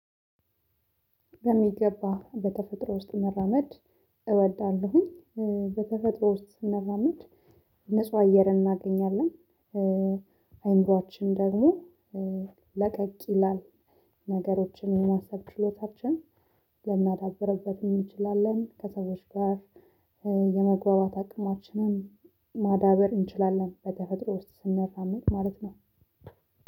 በሚገባ በተፈጥሮ ውስጥ መራመድ እወዳለሁኝ። በተፈጥሮ ውስጥ ስንረመድ ንጹህ አየር እናገኛለን። አይምሮአችን ደግሞ ለቀቅ ይላል። ነገሮችን የማሰብ ችሎታችን ልናዳብርበት እንችላለን። ከሰዎች ጋር የመግባባት አቅማችንን ማዳበር እንችላለን። በተፈጥሮ ውስጥ ስንራመድ ማለት ነው።